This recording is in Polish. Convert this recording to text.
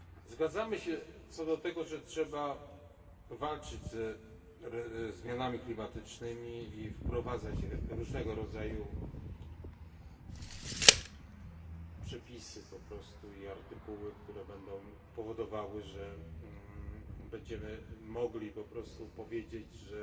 Zgadzamy się co do tego, że trzeba walczyć ze zmianami klimatycznymi i wprowadzać różnego rodzaju przepisy i artykuły, które będą powodowały, że będziemy mogli po prostu powiedzieć, że